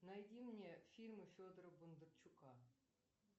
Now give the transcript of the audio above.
найди мне фильмы федора бондарчука